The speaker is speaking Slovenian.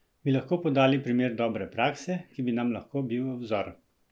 Bi lahko podali primer dobre prakse, ki bi nam lahko bil v vzor?